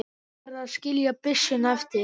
Varð að skilja byssuna eftir.